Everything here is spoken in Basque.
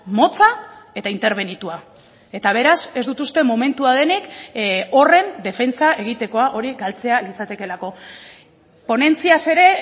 motza eta interbenitua eta beraz ez dut uste momentua denik horren defentsa egitekoa hori galtzea litzatekeelako ponentziaz ere